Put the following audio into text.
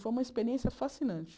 Foi uma experiência fascinante.